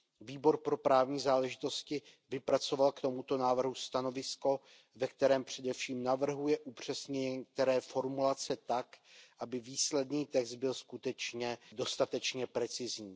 Výbor pro právní záležitosti vypracoval k tomuto návrhu stanovisko, ve kterém především navrhuje upřesnit některé formulace tak, aby výsledný text byl skutečně dostatečně precizní.